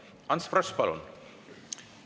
Ants Frosch, palun!